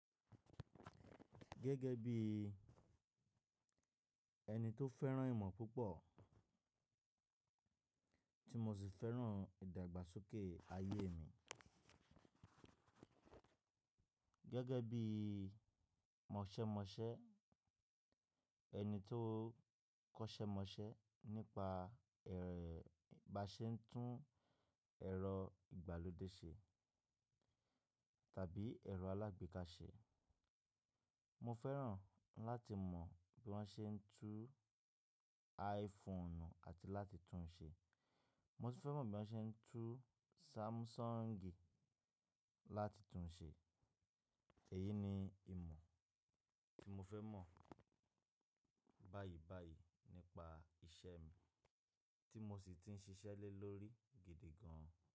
Gẹ́gẹ́ bí ẹni tó fẹ́ràn ìmọ̀ púpọ̀, tí mo sì fẹ́ràn ìdàgbàsókè ayé mi. Gẹ́gẹ́ bí mọṣẹ́mọṣẹ́, ẹni tó kọ́ṣẹ́ mọṣẹ́ nípa bi a ṣe ń tún ẹ̀rọ ìgbàlódé ṣe tàbí ẹ̀rọ alágbéká ṣe. Mo fẹ́ràn láti mọ bí wọ́n ṣe ń tún iPhone àti láti tún un ṣe. Mo sì fẹ́ mọ̀ bí wọ́n ṣe ń tún Samsung láti tún un ṣe. Èyí ni ìmọ̀ tí mo fẹ́ mọ̀ báyìí báyìí nípa iṣẹ́ mi tí mo sì ti ń ṣiṣẹ́ le lórí gidi gan.